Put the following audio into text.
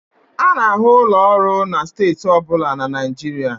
A na-ahụ ụlọ ọrụ na steeti ọ bụla na Nigeria